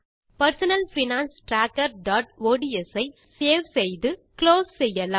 personal finance trackerஒட்ஸ் ஐ முதலில் சேவ் குளோஸ் செய்யலாம்